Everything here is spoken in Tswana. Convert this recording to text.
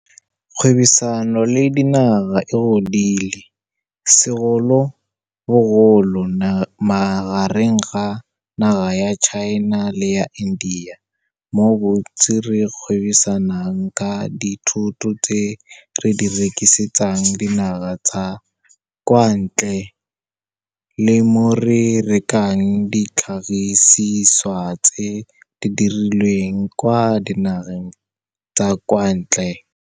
Kgwebisano le dinaga e godile, segolobogolo magareng ga naga ya China le ya India, mo bontsi re gwebisanang ka dithoto tse re di rekisetsang dinaga tsa kwa ntle le mo re rekang ditlhagisiswa tse di dirilweng kwa dinageng tsa kwa ntle.